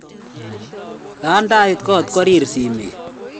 kondait kot korir simet